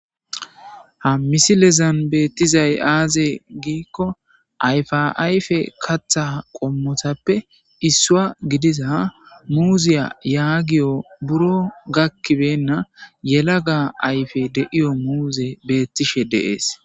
Ha misilen bettizayssa aze giiko ayfa ayfe kaththa qommotappi issuwa gidiza muziya yagiyo buro gakkibenna yelagga ayfey diyo muzey bettishe dees.